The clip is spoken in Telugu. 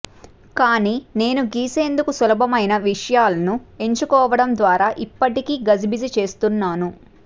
కానీ నేను గీసేందుకు సులభమయిన విషయాలను ఎంచుకోవడం ద్వారా ఇప్పటికీ గజిబిజి చేస్తున్నాను